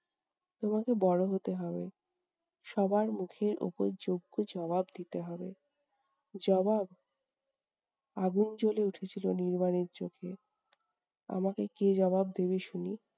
তোমাকে বড় হতে হবে। সবার মুখের উপর যোগ্য জবাব দিতে হবে। জবাব? আগুন জ্বলে উঠেছিল নির্বাণের চোখে। আমাকে কে জবাব দেবে শুনি?